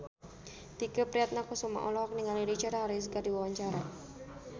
Tike Priatnakusuma olohok ningali Richard Harris keur diwawancara